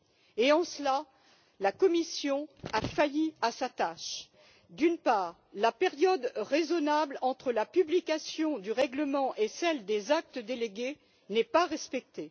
Et en cela, la Commission a failli à sa tâche. D'une part, la période raisonnable entre la publication du règlement et celle des actes délégués n'est pas respectée.